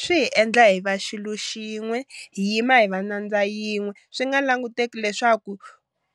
Swi hi endla hi va xilu xin'we hi yima hi va nyandza yin'we swi nga languteki leswaku